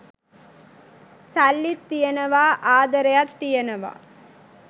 සල්ලිත් තියෙනවා ආදරයත් තියෙනවා